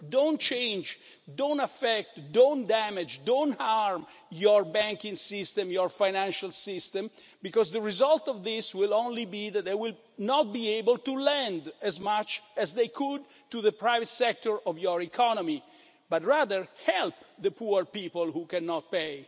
Don't change, don't affect, don't damage, don't harm your banking system, your financial system because the result of this will only be that they will not be able to lend as much as they could to the private sector of your economy, but rather help the poor people who cannot pay.